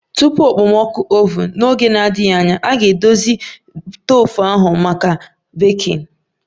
Tupu okpomọkụ oven! N'oge na-adịghị anya, a ga-edozi ihe ndị a na-eme n'oge na-adịghị anya.